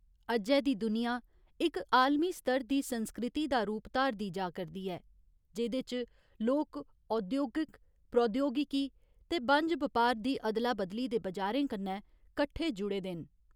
अज्जै दी दुनिया इक आलमी स्तर दी संस्कृति दा रूप धारदी जा करदी ऐ, जेह्‌दे च लोक औद्योगिक प्रौद्योगिकी ते बनज बपार दी अदला बदली दे बजारें कन्नै कट्ठे जुड़े दे न।